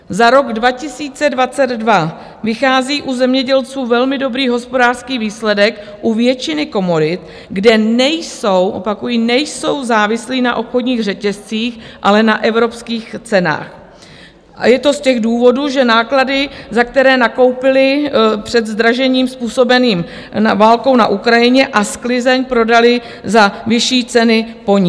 Za rok 2022 vychází u zemědělců velmi dobrý hospodářský výsledek u většiny komodit, kde nejsou, opakuji, nejsou závislí na obchodních řetězcích, ale na evropských cenách, a je to z těch důvodů, že náklady, za které nakoupili před zdražením způsobeným válkou na Ukrajině, a sklizeň prodali za vyšší ceny po ní.